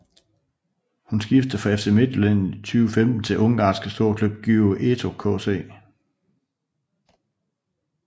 Hun skiftede fra FC Midtjylland i 2015 til den ungarske storklub Győri ETO KC